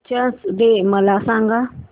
teachers day मला सांग